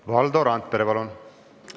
Valdo Randpere, palun!